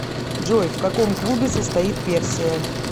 джой в каком клубе состоит персия